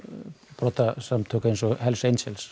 brotasamtök eins og hells